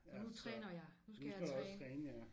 Nu træner jeg nu skal jeg træne